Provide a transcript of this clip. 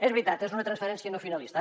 és veritat és una transferència no finalista